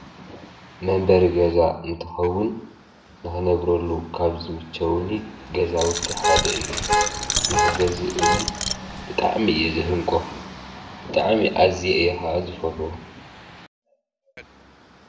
መንበሪ ገዛ እንትኸዉን ንክነብረሉ ካብ ዝምቸዉኒ ገዛዉቲ ሓደ እዩ። ንክገዝእ እዉን ብጣዕሚ እየ ዝህንቆ። ብጣዕሚ አዝየ እየ ከዓ ዝፈትዎ።